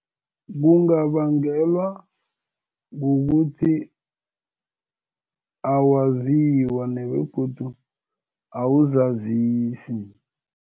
Kungabangelwa kukuthi, awaziwa nebegodu awuzazisi.